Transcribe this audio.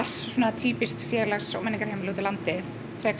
týpískt félags og menningarheimili úti á landi frekar